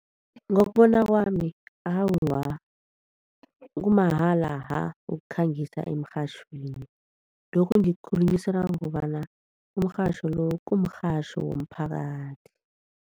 Ngokubona kwami awa, kumahala ha ukukhangisa emirhatjhweni lokhu ngikukhulunyiswa ngobana umrhatjho lo kumrhatjho womphakathi.